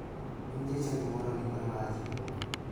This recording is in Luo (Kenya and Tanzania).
Nying jachadi moro ondikore marach e buge.